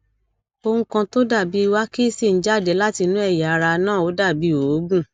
ohun kan tó dàbí wákísì ń jáde látinú ẹyà ara náà ó dàbí òógùn